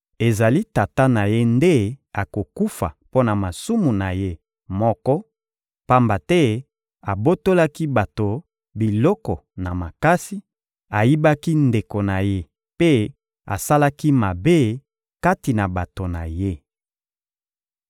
Ezali tata na ye nde akokufa mpo na masumu na ye moko, pamba te abotolaki bato biloko na makasi, ayibaki ndeko na ye mpe asalaki mabe kati na bato na ye.